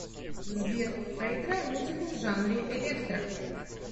сбер проиграй музыку в жанре электро